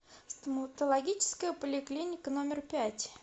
стоматологическая поликлиника номер пять